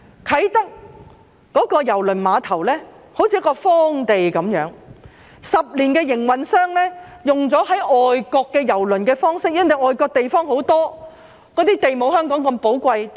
啟德郵輪碼頭好像一塊荒地，營運商10年來都是運用外國郵輪碼頭的方式，但外國地方大，土地沒有香港那麼寶貴。